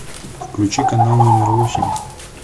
включи канал номер восемь